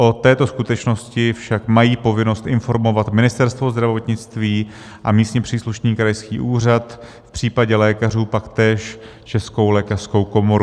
O této skutečnosti však mají povinnost informovat Ministerstvo zdravotnictví a místně příslušný krajský úřad, v případě lékařů pak též Českou lékařskou komoru.